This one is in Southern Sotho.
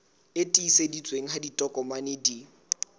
e tiiseditsweng ha ditokomane di